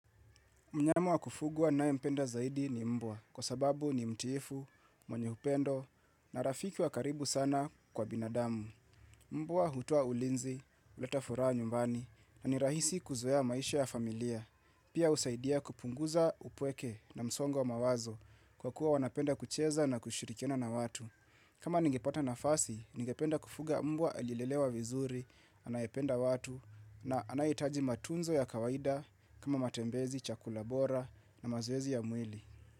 Mnyama wa kufugwa naye mpenda zaidi ni mbwa kwa sababu ni mtiifu, mweny upendo na rafiki wa karibu sana kwa binadamu. Mbwa hutoa ulinzi, uleta furaha nyumbani na ni rahisi kuzoea maisha ya familia. Pia usaidia kupunguza upweke na msongo wa mawazo kwa kuwa wanapenda kucheza na kushirikiana na watu. Kama ningipata nafasi, ningependa kufuga mbwa alilelewa vizuri, anayependa watu na anayehitaji matunzo ya kawaida kama matembezi, chakula bora na mazoezi ya mwili.